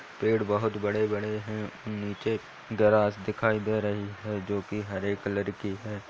पेड़ बहोत बड़े-बड़े है और नीचे ग्रास दिखाई दे रही है जो की हरे कलर की है।